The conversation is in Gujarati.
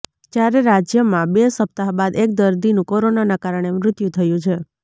જ્યારે રાજ્યમાં બે સપ્તાહ બાદ એક દર્દીનું કોરોનાના કારણે મૃત્યુ થયુ છે